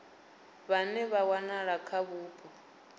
vhane vha wanala kha vhupo